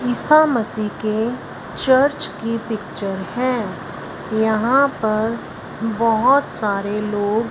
ईसा मसीह के चर्च की पिक्चर है यहां पर बहोत सारे लोग --